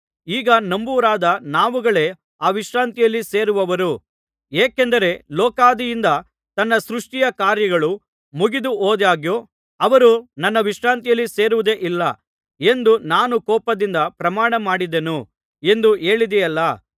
ಈಗ ನಂಬುವವರಾದ ನಾವುಗಳೇ ಆ ವಿಶ್ರಾಂತಿಯಲ್ಲಿ ಸೇರುವವರು ಏಕೆಂದರೆ ಲೋಕಾದಿಯಿಂದ ತನ್ನ ಸೃಷ್ಟಿಯ ಕಾರ್ಯಗಳು ಮುಗಿದುಹೋದಾಗ್ಯೂ ಅವರು ನನ್ನ ವಿಶ್ರಾಂತಿಯಲ್ಲಿ ಸೇರುವುದೇ ಇಲ್ಲ ಎಂದು ನಾನು ಕೋಪದಿಂದ ಪ್ರಮಾಣ ಮಾಡಿದೆನು ಎಂದು ಹೇಳಿದೆಯಲ್ಲಾ